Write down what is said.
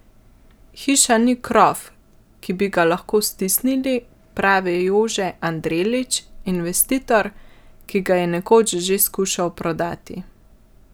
Hiša ni krof, ki bi ga lahko stisnili, pravi Jože Anderlič, investitor, ki ga je nekoč že skušal prodati.